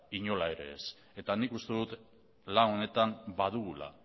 inola ere ez eta nik uste dut lan honetan badugula